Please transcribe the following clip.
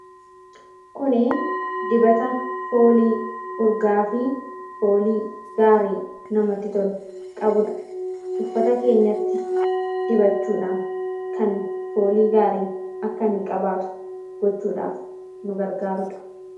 Kuni dibata foolii urgaa'aafi foolii gaarii namatti tolu qabudha. Uffata keenyatti dibachuudhaan, kan foolii gaarii akka inni qabaatu gochuudhaaf nu gargaarudha.